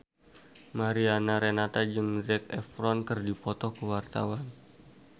Mariana Renata jeung Zac Efron keur dipoto ku wartawan